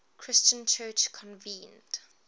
christian church convened